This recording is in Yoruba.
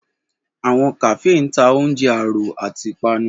Awọn Kafee ǹ ta ọunje aro ati ipanu.